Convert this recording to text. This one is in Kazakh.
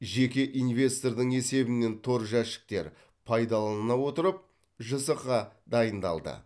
жеке инвестордың есебінен тор жәшіктер пайдаланыла отырып жсқ дайындалды